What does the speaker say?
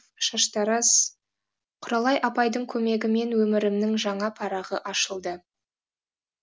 шаштараз құралай апайдың көмегімен өмірімнің жаңа парағы ашылды